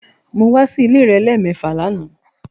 Mo wa si ile rẹ lẹmẹẹfa làná